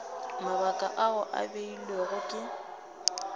mabaka ao a beilwego ke